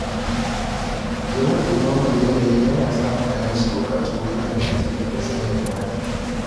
Yawan ɗumamar yanayi yana sa mutane su buƙaci wutar lantarki domin sanyaya muhalli.